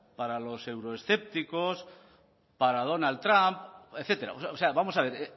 para los euroescépticos para donald trump etcétera o sea vamos a ver